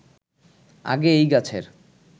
আগে এই গাছের